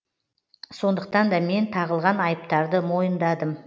сондықтан да мен тағылған айыптарды мойындадым